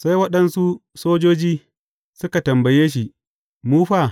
Sai waɗansu sojoji suka tambaye shi, Mu fa?